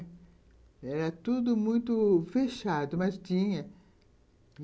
Era tudo muito fechado, mas tinha.